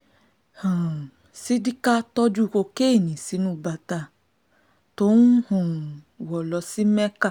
um ṣídíkà tójú kokéènì sínú bàtà tó ń um wọ̀ lọ sí mẹ́ka